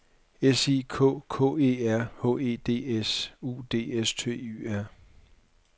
S I K K E R H E D S U D S T Y R